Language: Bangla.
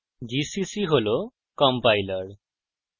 gcc হল compiler